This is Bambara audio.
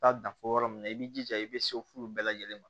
Taa dan fɔ yɔrɔ min na i b'i jija i bɛ se furu bɛɛ lajɛlen ma